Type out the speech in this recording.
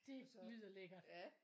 Det lyder lækkert